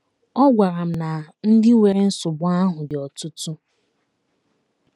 Ọ gwara m na ndị nwere nsogbu ahụ dị ọtụtụ ahụ dị ọtụtụ.